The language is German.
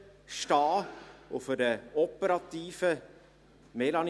Es gibt eine operative Seite.